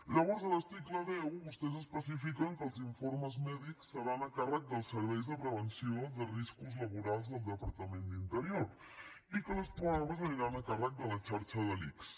llavors a l’article deu vostès especifiquen que els informes mèdics seran a càrrec del servei de prevenció de riscos laborals del departament d’interior i que les proves aniran a càrrec de la xarxa de l’ics